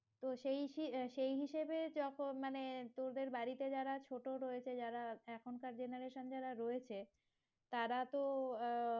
তো সেই আহ সেই হিসাবে যত মানে তোদের বাড়িতে যারা ছোট রয়েছে তারা এখনকার generation যারা রয়েছে তারা তো আহ